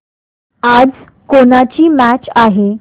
आज कोणाची मॅच आहे